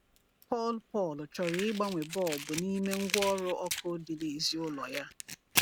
PAUL PAUL chọrọ ịgbanwe bọlbụ n’ime ngwaọrụ ọkụ dị n’èzí ụlọ ya.